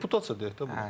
Reputasiya deyək də bunu.